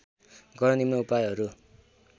गर्न निम्न उपायहरू